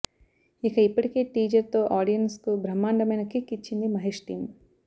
ఇక ఇప్పటికే టీజర్ తో ఆడియన్స్ కు బ్రహ్మండమైన కిక్ ఇచ్చింది మహేష్ టీం